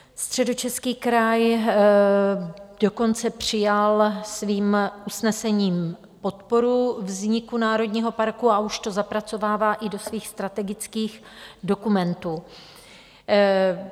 Středočeský kraj dokonce přijal svým usnesením podporu vzniku národního parku a už to zapracovává i do svých strategických dokumentů.